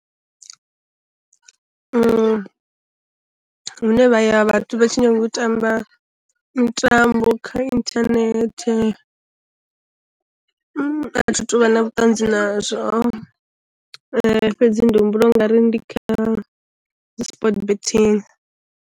Hune vha ya vhathu vha tshi nyanga u tamba mitambo kha inthanethe, a thi tuvha na vhuṱanzi nazwo fhedzi ndi humbula u nga ri ndi kha dzi sport betting.